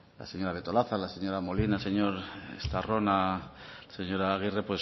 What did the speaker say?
la señora betolaza la señora molina el señor estarrona la señora agirre